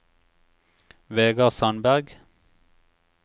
Vegar Sandberg